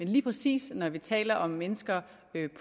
lige præcis når vi taler om mennesker